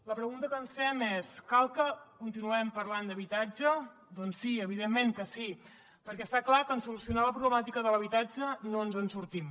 la pregunta que ens fem és cal que continuem parlant d’habitatge doncs sí evidentment que sí perquè està clar que en solucionar la problemàtica de l’habitatge no ens en sortim